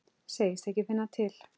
Segist ekki finna til.